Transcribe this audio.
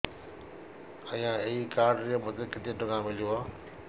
ଆଜ୍ଞା ଏଇ କାର୍ଡ ରେ ମୋତେ କେତେ ଟଙ୍କା ମିଳିବ